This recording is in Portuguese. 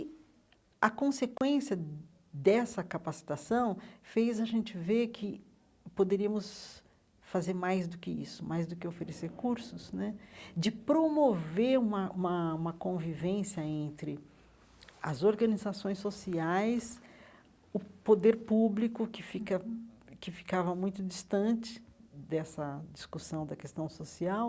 E a consequência dessa capacitação fez a gente ver que poderíamos fazer mais do que isso, mais do que oferecer cursos né, de promover uma uma uma convivência entre as organizações sociais, o poder público, que fica que ficava muito distante dessa discussão da questão social,